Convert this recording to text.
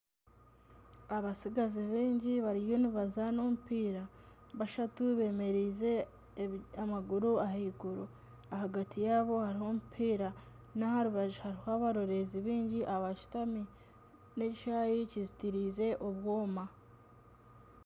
Abatsigazi baingi bariyo nibazaana omupiira bashatu bemerize amaguru ahaiguru ahagati yabo hariho omupiira n'aha rubaju hariho abaroreezi baingi abashutami n'ekishaayi kizitiirize obwooma.